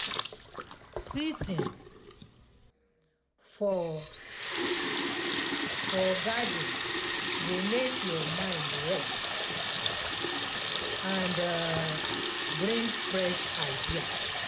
sitting for for for garden go make your mind rest and um bring fresh ideas.